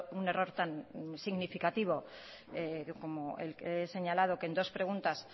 un error tan significativo como el que he señalado que en dos preguntas